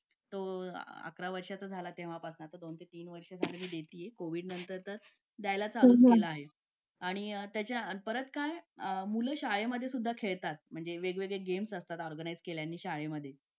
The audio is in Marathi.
लेट होतं सर्दी खोकला हा एक वाढलं आहे. एका मुलाला क्लास पूर्ण क्लास त्याच्यामध्ये वाहून निघत निघत असतो असं म्हणायला हरकत नाही. हो डेंग्यू, मलेरिया यासारखे आजार पण ना म्हणजे लसीकरण आहे. पूर्ण केले तर मला नाही वाटत आहे रोप असू शकतेपुडी लसीकरणाबाबत थोडं पालकांनी लक्ष दिलं पाहिजे की आपला मुलगा या वयात आलेला आहे. आता त्याच्या कोणत्या लसी राहिलेले आहेत का?